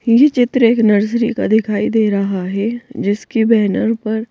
येह चित्र एक नर्सरी का दिखाई दे रहा हैं जिसके बैनर पर--